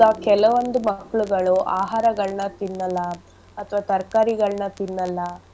ಕೆಲವೊಂದು ಮಕ್ಳುಗಳು ಆಹಾರಗಳ್ನ ತಿನ್ನಲ್ಲ ಅಥವಾ ತರ್ಕಾರಿಗಳ್ನ ತಿನ್ನಲ್ಲ.